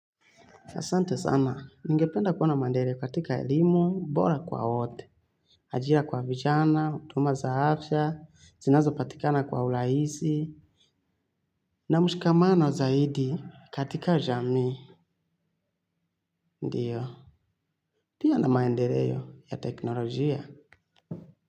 Asante sana, ningependa kuwa na mandeleo katika elimu bora kwa wote, hajira kwa vijana, huduma za afya, zinazopatikana kwa urahisi, na mshikamano zaidi katika jamii, ndiyo. Pia na maendeleo ya teknolojia.